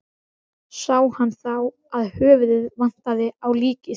Sá hann þá að höfuðið vantaði á líkið.